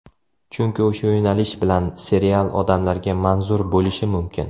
Chunki o‘sha yo‘nalish bilan serial odamlarga manzur bo‘lishi mumkin.